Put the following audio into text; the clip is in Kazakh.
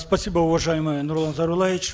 спасибо уважаемый нурлан зайроллаевич